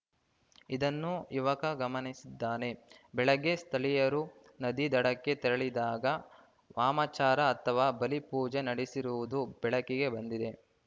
ಇದನ್ನೂ ಯುವಕ ಗಮನಿಸಿದ್ದಾನೆ ಬೆಳಗ್ಗೆ ಸ್ಥಳೀಯರು ನದಿ ದಡಕ್ಕೆ ತೆರಳಿದಾಗ ವಾಮಾಚಾರ ಅಥವಾ ಬಲಿ ಪೂಜೆ ನಡೆಸಿರುವುದು ಬೆಳಕಿಗೆ ಬಂದಿದೆ